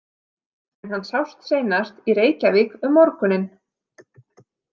En hann sást seinast í Reykjavík um morguninn.